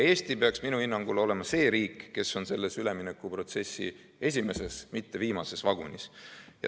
Eesti peaks minu hinnangul olema see riik, kes on selle üleminekuprotsessi esimeses, mitte viimases vagunis.